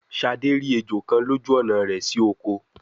Shade rí ejó kán lójú ọnà rẹ si okò